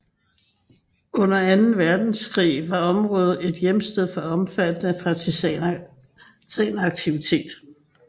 Under Anden Verdenskrig var området en hjemsted for omfattende partisanaktivitet